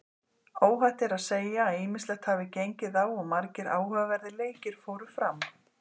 Óhætt er að segja að ýmislegt hafi gengið á og margir áhugaverðir leikir fóru fram.